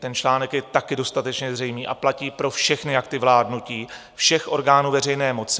Ten článek je taky dostatečně zřejmý a platí pro všechny akty vládnutí všech orgánů veřejné moci.